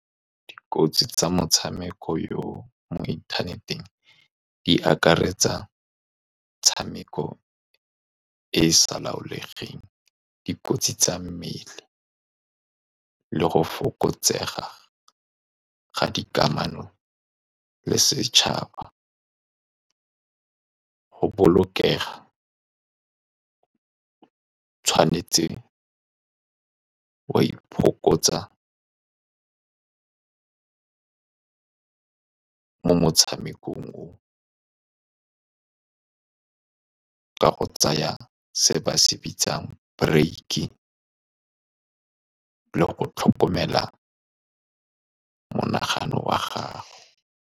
Dikotsi tsa motshameko yoo mo inthaneteng di akaretsa tshameko e e sa laolesegeng, dikotsi tsa mmele, le go fokotsega ga dikamano le setšhaba. Go bolokega, tshwanetse wa mo motshamekong oo ka go tsaya se ba se bitsang break-e, le go tlhokomela monagano wa gago.